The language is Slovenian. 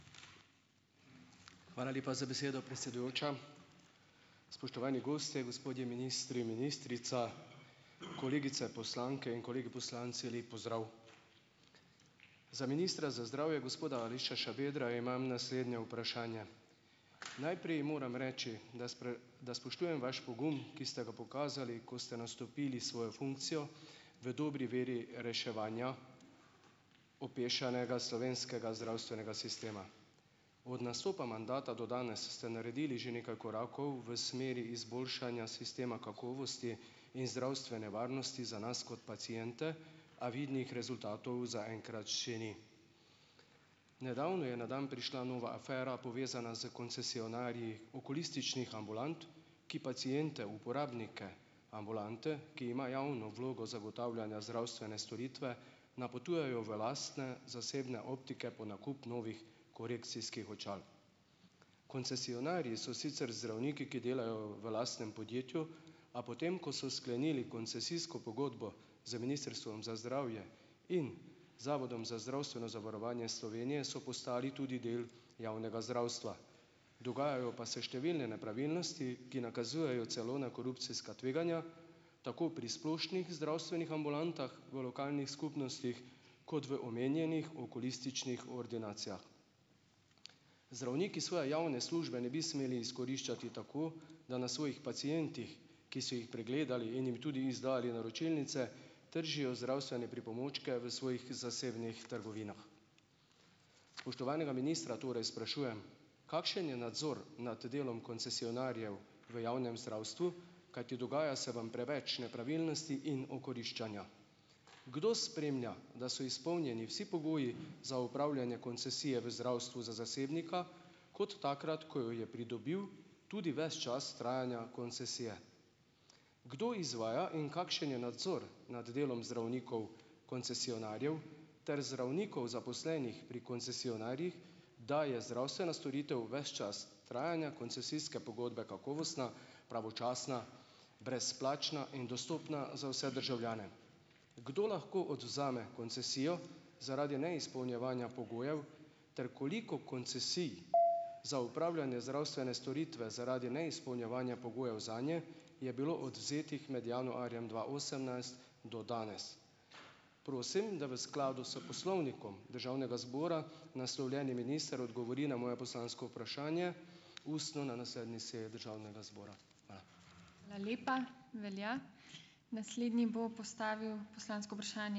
Hvala lepa za besedo, predsedujoča. Spoštovani gostje, gospodje ministri, ministrica! Kolegice poslanke in kolegi poslanci! Lep pozdrav! Za ministra za zdravje, gospoda Aleša Šabedra, imam naslednje vprašanje. Najprej moram reči, da da spoštujem vaš pogum, ki ste ga pokazali, ko ste nastopili svojo funkcijo v dobri veri reševanja opešanega slovenskega zdravstvenega sistema. Od nastopa mandata do danes ste naredili že nekaj korakov v smeri izboljšanja sistema kakovosti in zdravstvene varnosti za nas kot paciente, a vidnih rezultatov zaenkrat še ni. Nedavno je na dan prišla nova afera povezana s koncesionarji okulističnih ambulant, ki paciente, uporabnike ambulante, ki ima javno vlogo zagotavljanja zdravstvene storitve napotujejo v lastne, zasebne optike po nakup novih korekcijskih očal. Koncesionarji so sicer zdravniki, ki delajo v lastnem podjetju, a potem ko so sklenili koncesijsko pogodbo z Ministrstvom za zdravje in Zavodom za zdravstveno zavarovanje Slovenije so postali tudi del javnega zdravstva. Dogajajo pa se številne nepravilnosti, ki nakazujejo celo na korupcijska tveganja, tako pri splošnih zdravstvenih ambulantah v lokalnih skupnostih kot v omenjenih okulističnih ordinacijah. Zdravniki svoje javne službe ne bi smeli izkoriščati tako, da na svojih pacientih, ki so jih pregledali, in jim tudi izdali naročilnice, tržijo zdravstvene pripomočke v svojih zasebnih trgovinah. Spoštovanega ministra torej sprašujem, kakšen je nadzor nad delom koncesionarjev v javnem zdravstvu. Kajti dogaja se vam preveč nepravilnosti in okoriščanja. Kdo spremlja, da so izpolnjeni vsi pogoji za opravljanje koncesije v zdravstvu za zasebnika kot takrat, ko jo je pridobil tudi ves čas trajanja koncesije. Kdo izvaja in kakšen je nadzor nad delom zdravnikov koncesionarjev ter zdravnikov zaposlenih pri koncesionarjih, da je zdravstvena storitev ves čas trajanja koncesijske pogodbe kakovostna, pravočasna, brezplačna in dostopna za vse državljane? Kdo lahko odvzame koncesijo zaradi neizpolnjevanja pogojev? Ter koliko koncesij za opravljanje zdravstvene storitve zaradi neizpolnjevanja pogojev zanje je bilo odvzetih med januarjem dva osemnajst do danes? Prosim, da v skladu s Poslovnikom Državnega zbora naslovljeni minister odgovori na moje poslansko vprašanje ustno na naslednji seji državnega zbora. Hvala.